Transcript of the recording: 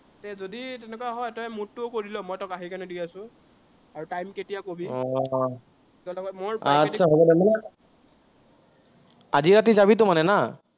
অ, आतछा হব দে। আজি ৰাতি যাবিতো মানে না?